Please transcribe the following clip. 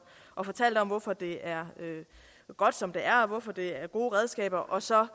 og fortalte om hvorfor det er godt som det er og hvorfor det er gode redskaber og så